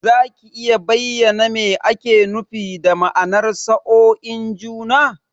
Za ka iya bayyana me ake nufi da ma'anar sa'oin juna?